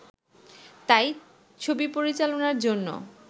তাই ছবি পরিচালনার জন্য